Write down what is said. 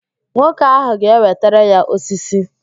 Nwoke ahụ ga-ewetara ya osisi